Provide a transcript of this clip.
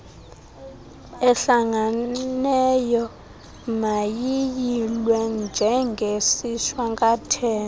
ehlanganeyo mayiyilwe njengesishwankathelo